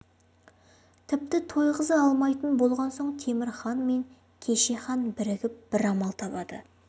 тіпті тойғыза алмайтын болған соң темір хан мен кеше хан бірігіп бір амал табады